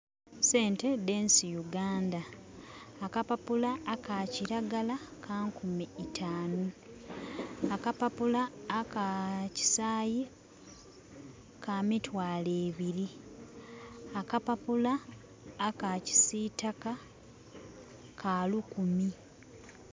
Esente dhe nsi Uganda. Aka papula aka kiragala ka nkumi tanu, aka papula aka kisayi ka mitwalo ebiri, aka papula aka kisitaka ka lukumi